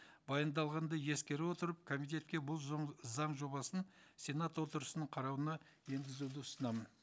баяндалғанды ескере отырып комитетке бұл заң жобасын сенат отырысының қарауына енгізуді ұсынамын